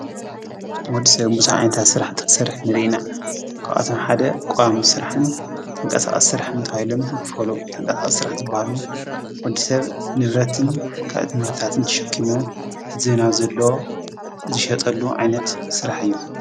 ወድ ሙሳ ኣንንታ ሥራሕ ትኽሠርሕ ንድኢና ቋቛቶም ሓደ ቛሙ ሥራሕን ተንቀሳዊ ሥራሕ እንተውይለም ይክፈሉ ተንቀሳእ ሥራሕ ትበሃሉ ወዲሰብ ንብረትን ካእቲ ምርታትን ትሸኪሙ ሕዚናብ ዘሎ ዝሸጠሉ ዓይነት ሥራሕ እዩ።